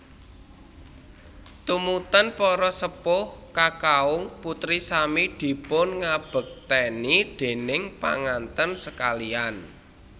Tumunten para sepuh kakaung putri sami dipunngabekteni déning panganten sakaliyan